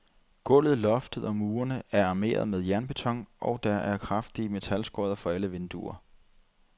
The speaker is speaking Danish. Gulvet, loftet og murene er armeret med jernbeton, og der er kraftige metalskodder for alle vinduer.